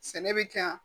Sɛnɛ bɛ kɛ yan